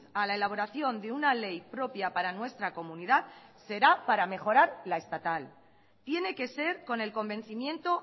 a la elaboración de una ley propia para nuestra comunidad será para mejorar la estatal tiene que ser con el convencimiento